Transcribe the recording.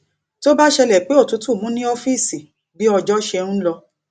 tó bá ṣẹlè pé òtútù mú ní ófíìsì bí ọjọ ṣe n lọ